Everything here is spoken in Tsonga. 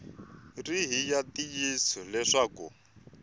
ri hi ya ntiyiso leswaku